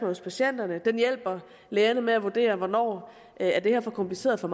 hos patienterne den hjælper lægerne med at vurdere hvornår det er for kompliceret for